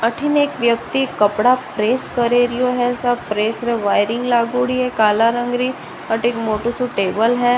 अठीन एक व्यक्ति कपड़ा प्रेस करे रियो है सब प्रेस में वायरिंग लाड़ोगी है काला रंग री और एक मोटो सो टेबल है।